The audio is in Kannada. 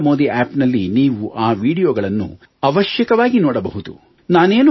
ನಮೋ ಅಪ್ ನಲ್ಲಿ ನೀವು ಆ ವೀಡಿಯೊಗಳನ್ನು ಅವಶ್ಯಕವಾಗಿ ನೋಡಬಹುದು